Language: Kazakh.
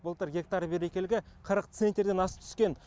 былтыр гектар берекелігі қырық центнерден асып түскен